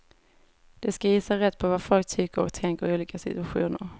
De ska gissa rätt på vad folk tycker och tänker i olika situationer.